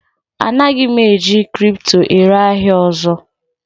Anaghị m eji kripto ere ahịa ọzọ